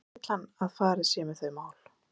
En hvernig vill hann að farið sé með þau mál?